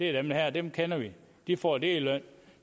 er dem her dem kender vi de får det i løn